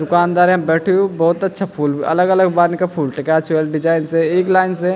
दुकानदार यम बैठयूँ भोत अच्छा फूल अलग-अलग बनी का फूल टक्या छी वेक डिजाईन से एक लाइन से --